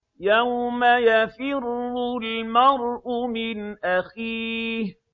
يَوْمَ يَفِرُّ الْمَرْءُ مِنْ أَخِيهِ